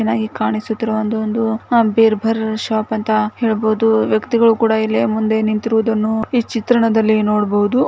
ಚೆನ್ನಾಗಿ ಕಾಣಿಸುತ್ತಿರುವ ಒಂದು ಒಂದು ಬೆರಬರ ಶಾಪ ಅಂತ ಹೆಳಬಹುದು ವ್ಯಕ್ತಿಗಳು ಕುಡ ಇಲ್ಲಿ ಮುಂದೆ ನಿಂತಿರುವುದನ್ನು ಈ ಚಿತ್ರಣದಲ್ಲಿ ನೊಡಬಹುದು .